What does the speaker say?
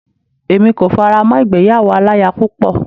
Èmi kò fara mọ́ ìgbéyàwó aláya púpọ̀.